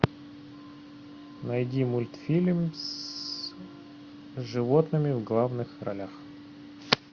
найди мультфильм с животными в главных ролях